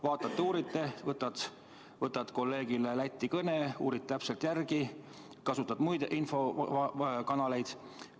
Vaatate-uurite, sa võtad kolleegile Lätti kõne, uurid täpselt järele, kasutad muid infokanaleid.